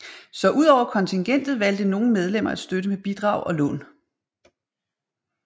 Så udover kontingentet valgte nogle medlemmer at støtte med bidrag og lån